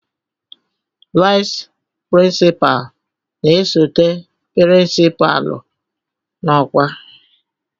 Vice Principal na-esote pirinsipalu n'ọkwa